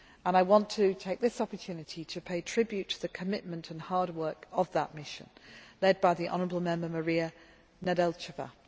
I want to take this opportunity to pay tribute to the commitment and hard work of that mission, led by honourable Member Mariya Nedelcheva.